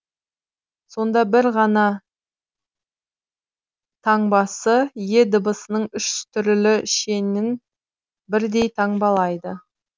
сонда бір ғана таңбасы е дыбысының үш түрлі шенін бірдей таңбалайды